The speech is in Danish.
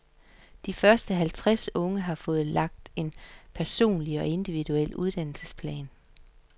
De første halvtreds unge har fået lagt en personlig og individuel uddannelsesplan.